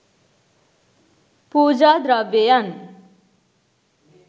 පූජා ද්‍රව්‍යයන්